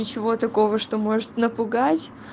ничего такого что может напугать